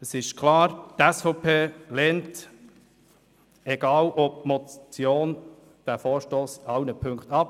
Es ist klar, die SVP lehnt diesen Vorstoss, egal ob als Motion oder nicht, in allen Punkten ab.